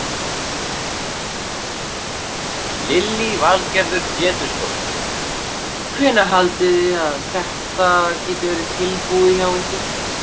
Lillý Valgerður Pétursdóttir: Hvenær haldið þið að þetta geti verið tilbúið hjá ykkur?